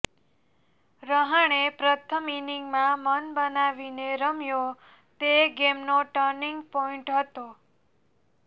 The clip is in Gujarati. રહાણે પ્રથમ ઈનિંગમાં મન બનાવીને રમ્યો તે ગેમનો ટર્નિંગ પોઇન્ટ હતો